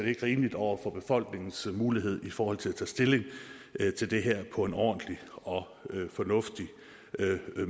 ikke rimeligt over for befolkningens mulighed i forhold til at tage stilling til det her på en ordentlig og fornuftig